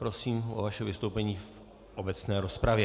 Prosím o vaše vystoupení v obecné rozpravě.